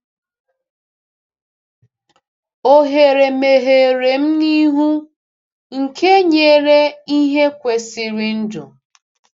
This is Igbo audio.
Ohere meghere m n’ihu, nke nyere ihe kwesịrị ndụ.